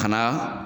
Ka na